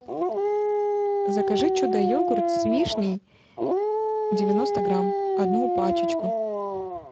закажи чудо йогурт с вишней девяносто грамм одну пачечку